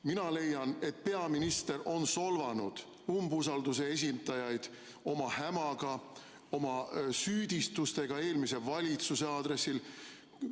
Mina leian, et peaminister on solvanud umbusalduse esitajaid oma hämaga, oma süüdistustega eelmise valitsuse aadressil.